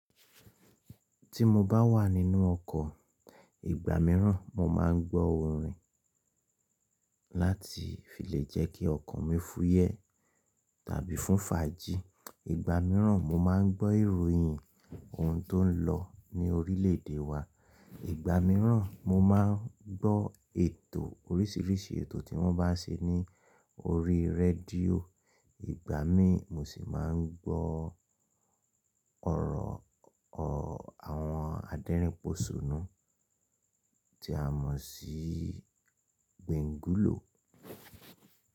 Tí mo bá wà nínú ọkọ̀, ìgbà míràn mo má ń gbọ́ orin láti fi lè jẹ́ kí ọkàn mi fúyẹ́ tàbí fún faji. Ìgbà míràn mo má ń gbọ́ ìròyìn. Òun tó ń lọ ní orílẹ̀ èdè wa. Ìgbà míràn mo má ń gbọ́ ètò oríṣiríṣi, ètò tí wọ́n bá ń ṣe ní orí rédíò. Ìgbà mi mo sì má ń gbọ́ oro àwọn aderinposonu tí a mo sí Gbengulo.